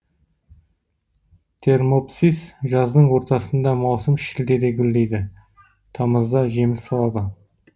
термопсис жаздың ортасында маусым шілдеде гүлдейді тамызда жеміс салады